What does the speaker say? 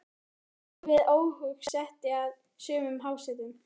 Ekki var laust við að óhug setti að sumum hásetunum.